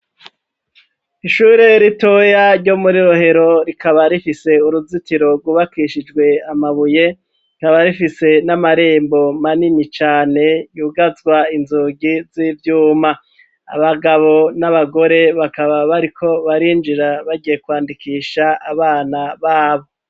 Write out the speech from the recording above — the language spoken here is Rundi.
Ishure ritoya ryo muri rohero rikaba rifise uruzitiro rwubakishijwe amabuye rikaba rifise n'amarembo manini cane yugazwa inzugi z'ivyuma abagabo n'abagore bakaba bariko barinjira bagiye kwandikisha abana babo.